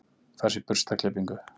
Fær sér burstaklippingu.